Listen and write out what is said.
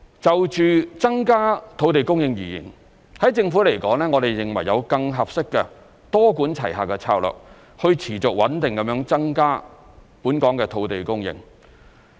就增加土地供應而言，在政府來說，我們認為有更合適的多管齊下策略去持續穩定地增加本港的土地供應。